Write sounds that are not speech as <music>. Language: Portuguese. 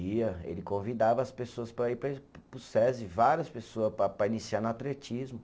Ia, ele convidava as pessoas para ir <unintelligible> para o Sesi, várias pessoa para para iniciar no atletismo.